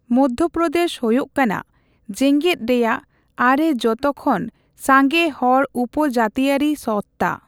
ᱢᱚᱫᱽᱫᱷᱯᱨᱚᱫᱮᱹᱥ ᱦᱳᱭᱳᱜ ᱠᱟᱱᱟ ᱡᱮᱜᱮᱫ ᱨᱮᱭᱟᱜ ᱟᱨᱮ ᱡᱷᱚᱛᱚᱠᱷᱚᱱ ᱥᱟᱸᱜᱮ ᱦᱚᱲ ᱩᱯᱡᱟᱹᱛᱤᱭᱟᱹᱨᱤ ᱥᱚᱛᱛᱟ ᱾